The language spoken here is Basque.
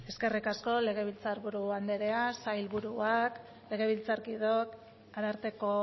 eskerrik asko legebiltzar buru anderea sailburuak legebiltzarkideok ararteko